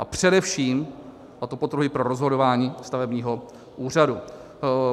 A především, a to podtrhuji, pro rozhodování stavebního úřadu.